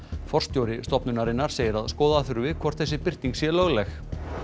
forstjóri stofnunarinnar segir að skoða þurfi hvort þessi birting sé lögleg